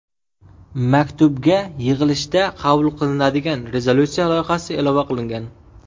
Maktubga yig‘ilishda qabul qilinadigan rezolyutsiya loyihasi ilova qilingan.